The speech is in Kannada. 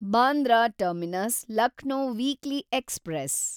Bandra terminus Lucknow weekly express